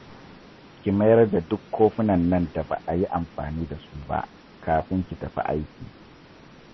Ki mayar da duk kofunan nan da ba a yi amfani da su ba, kafin ki tafi aiki